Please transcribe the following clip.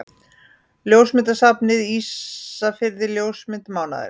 Ljósmyndasafnið Ísafirði Ljósmynd mánaðarins.